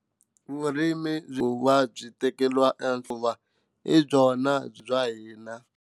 Vurimi ku va byi tekeriwa enhlokweni hi byona bya hina.